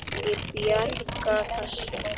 Ég bjarga þessu.